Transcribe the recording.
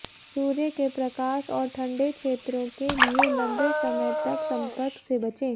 सूर्य के प्रकाश और ठंडे क्षेत्रों के लिए लंबे समय तक संपर्क से बचें